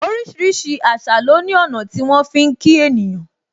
Orísìírísìí àṣà lo ní ọ̀nà tí wọn fi ń kí ènìyàn.